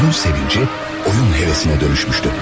Oyun sevinci, oyun hevesinə dönüşmüşdü.